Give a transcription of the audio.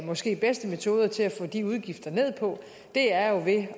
måske bedste metoder til at få de udgifter ned på er jo ved